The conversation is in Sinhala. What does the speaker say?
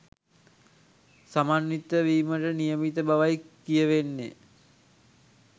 සමන්විත වීමට නියමිත බවයි කියවෙන්නේ.